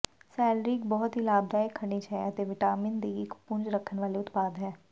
salary ਇੱਕ ਬਹੁਤ ਹੀ ਲਾਭਦਾਇਕ ਖਣਿਜ ਅਤੇ ਵਿਟਾਮਿਨ ਦੀ ਇੱਕ ਪੁੰਜ ਰੱਖਣ ਵਾਲੇ ਉਤਪਾਦ ਹੈ